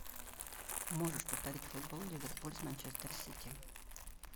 можешь повторить футбол ливерпуль с манчестер сити